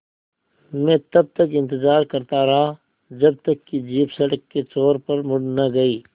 मैं तब तक इंतज़ार करता रहा जब तक कि जीप सड़क के छोर पर मुड़ न गई